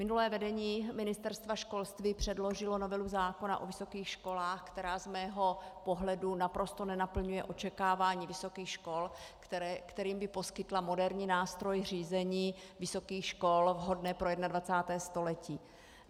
Minulé vedení Ministerstva školství předložilo novelu zákona o vysokých školách, která z mého pohledu naprosto nenaplňuje očekávání vysokých škol, kterým by poskytla moderní nástroj řízení vysokých škol vhodného pro 21. století.